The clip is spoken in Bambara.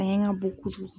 A ɲɛ ka bon kojugu